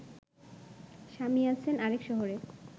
স্বামী আছেন আরেক শহরে